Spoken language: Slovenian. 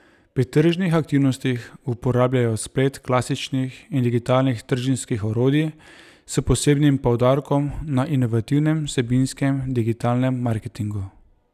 Pri tržnih aktivnostih uporabljajo splet klasičnih in digitalnih trženjskih orodij, s posebnim poudarkom na inovativnem vsebinskem digitalnem marketingu.